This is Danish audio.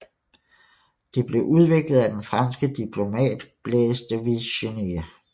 Det blev udviklet af den franske diplomat Blaise de Vigenère